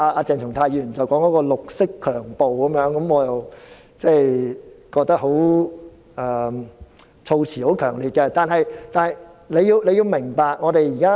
鄭松泰議員說是"綠色強暴"，我覺得措辭很強烈，但請你明白我們的憂慮。